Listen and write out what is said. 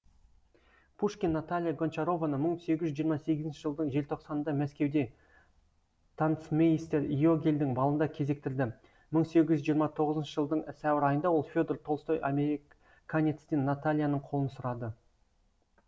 пушкин наталья гончарованы мың сегіз жүз жиырма сегізінші жылдың желтоқсанында мәскеуде танцмейстер йогельдің балында кезіктірді мың сегіз жүз жиырма тоғызыншы жылдың сәуір айында ол федор толстой американецтен натальяның қолын сұрады